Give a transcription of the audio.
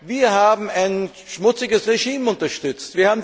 Wir haben ein schmutziges Regime unterstützt.